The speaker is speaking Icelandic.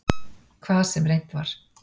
Hvað sem reynt var.